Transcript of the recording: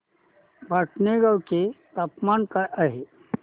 भटाणे गावाचे तापमान काय आहे